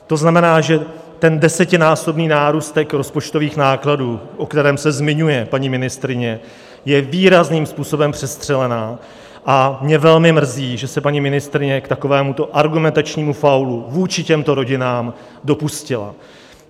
To znamená, že ten desetinásobný nárůst rozpočtových nákladů, o kterém se zmiňuje paní ministryně, je výrazným způsobem přestřelený, a mě velmi mrzí, že se paní ministryně k takovémuto argumentačnímu faulu vůči těmto rodinám dopustila.